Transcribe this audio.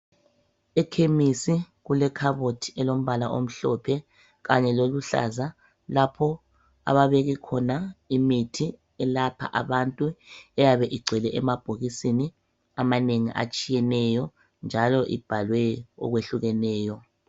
Ekhemisi kulekhabothi elombala omhlophe kanye loluhlaza lapho ababeke khona imithi elapha abantu eyabe igcwele emabhokisini amanengi atshiyeneyo njalo ibhalwe okwehlukeneyo.